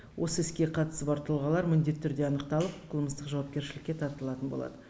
осы іске қатысы бар тұлғалар міндетті түрде анықталып қылмыстық жауапкершілікке тартылатын болады